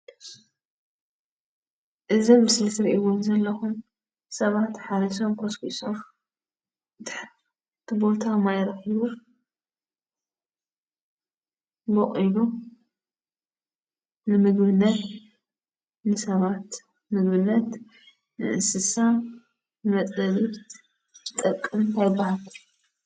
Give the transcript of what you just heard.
እዚ ምስሊ ትሪእይዎም ዘለኩም ሰባት ሓሪሶም ኮስኪሶም እቲ ቦታ ማዕሪጉ፣ ቦቂሉ፣ ንምግብነት፣ ንሰባት፣ ንእንስሳ መፅለልን ዝጠቅም ቦታ እዩ፡፡